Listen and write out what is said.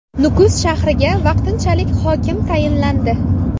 Nukus shahriga vaqtinchalik hokim tayinlandi.